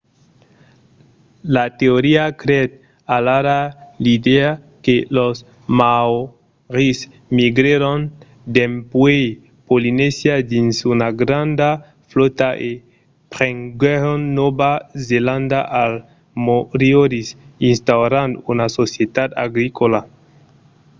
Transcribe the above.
la teoria creèt alara l’idèa que los maòris migrèron dempuèi polinesia dins una granda flòta e prenguèron nòva zelanda als moriòris instaurant una societat agricòla